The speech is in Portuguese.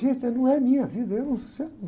Gente, essa não é minha vida, eu não sou